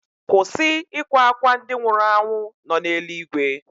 Kwụsị ịkwa akwa ndị nwụrụ anwụ nọ n'eluigwe.